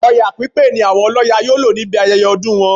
Ọya pípé ni àwọn ọlọ́ya yóò lò níbi ayẹyẹ ọdún wọn